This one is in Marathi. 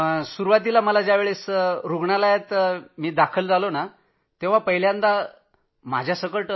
जेव्हा मी रूग्णालयात दाखल झालो तेव्हा पहिल्यांदा तर सारेच तणावाखाली होते